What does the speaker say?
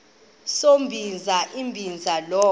sombinza umbinza lo